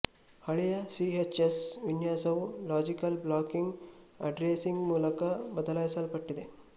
ಹಳೆಯ ಸಿಎಚ್ಎಸ್ ವಿನ್ಯಾಸವು logical blocking addressing ಮೂಲಕ ಬದಲಾಯಿಸಲ್ಪಟ್ಟಿದೆ